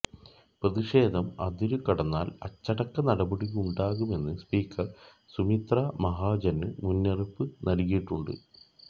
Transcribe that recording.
പ്രതിഷേധം അതിരു കടന്നാല് അച്ചടക്ക നടപടിയുണ്ടാകുമെന്ന് സ്പീക്കര് സുമിത്ര മഹാജന് മുന്നറിയിപ്പ് നല്കിയിട്ടുണ്ട്